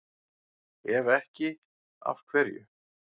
Ef ekki, af hverju?